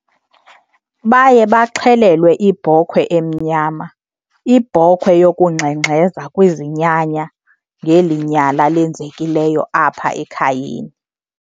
Baye baxhelelwe ibhokhwe emnyama, ibhokhwe yokungxengxeza kwizinyanya ngeli nyala lenzekileyo apha ekhayeni.